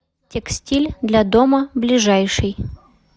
текстиль для дома ближайший